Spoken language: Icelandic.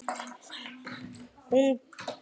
Og sór enn.